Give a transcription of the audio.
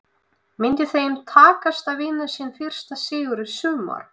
Myndi þeim takast að vinna sinn fyrsta sigur í sumar?